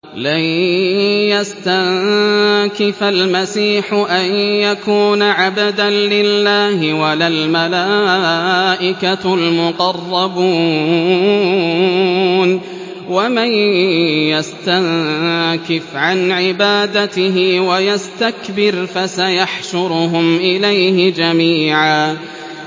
لَّن يَسْتَنكِفَ الْمَسِيحُ أَن يَكُونَ عَبْدًا لِّلَّهِ وَلَا الْمَلَائِكَةُ الْمُقَرَّبُونَ ۚ وَمَن يَسْتَنكِفْ عَنْ عِبَادَتِهِ وَيَسْتَكْبِرْ فَسَيَحْشُرُهُمْ إِلَيْهِ جَمِيعًا